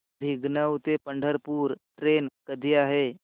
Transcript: भिगवण ते पंढरपूर ट्रेन कधी आहे